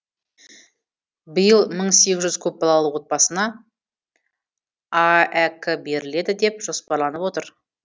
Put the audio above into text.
биыл мың сегіз жүз көпбалалы отбасына аәк беріледі деп жоспарланып отыр